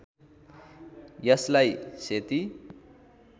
यसलाई सेती